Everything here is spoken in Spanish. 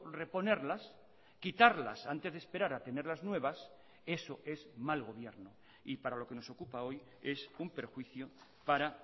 reponerlas quitarlas antes de esperar a tener las nuevas eso es mal gobierno y para lo que nos ocupa hoy es un perjuicio para